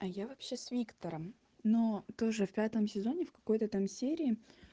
а я вообще с виктором но тоже в пятом сезоне в какой-то там серии